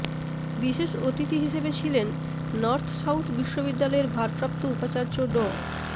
বিশেষ অতিথি হিসেবে ছিলেন নর্থ সাউথ বিশ্ববিদ্যালয়ের ভারপ্রাপ্ত উপাচার্য ড